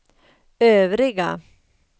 övriga